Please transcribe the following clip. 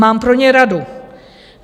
Mám pro ně radu.